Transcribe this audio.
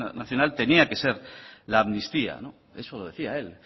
nacional tenía que ser la amnistía eso decía él